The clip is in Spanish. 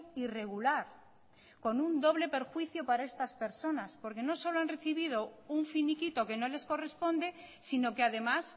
irregular con un doble perjuicio para estas personas porque no solo han recibido un finiquito que no les corresponde sino que además